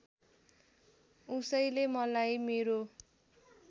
उसैले मलाई मेरो